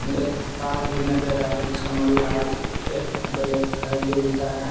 एक कार भी नजर आ रहा है जिसका लाल एक ब्लैक हैं दो गो तार हैं।